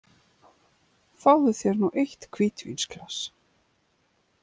Fáðu þér nú eitt hvítvínsglas.